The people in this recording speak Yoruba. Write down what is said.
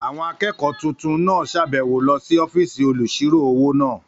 Àwọn akẹ́kọ̀ọ́ tuntun náà sàbẹ̀wo lọ sí ọ́fìsì olùsirò-owó náà